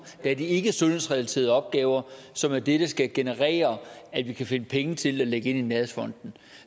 det er ikkesundhedsrelaterede opgaver som af dette skal generere at vi kan finde penge til at lægge ind i nærhedsfonden